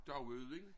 Dauudijn